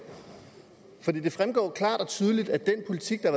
som i det fremgår klart og tydeligt at den politik der